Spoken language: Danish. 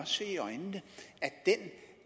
se i øjnene